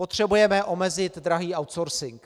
Potřebujeme omezit drahý outsourcing.